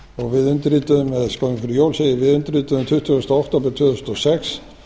og við undirrituðum eða skömmu fyrir jól segir við undirrituðum tuttugu október tvö þúsund og sex